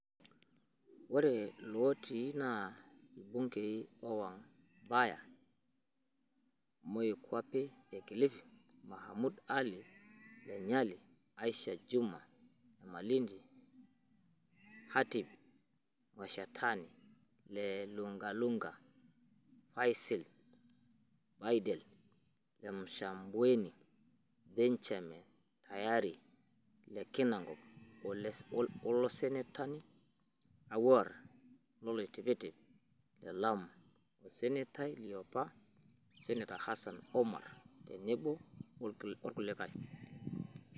Oree lootii naa ilbungei Owen Baya (Moikuape e Kilifi), Mohammed Ali (le Nyali), Aisha Jumwa ( e Malindi), Khatib Mwashetani (le Lungalunga), Faisel Baidel (le Msambweni), Benjamin Tayari (le Kinango), olsenetani Anwar Loitiptip (Le Lamu) osenetai liopa Senator Hassan Omar, tenebo olkulikai.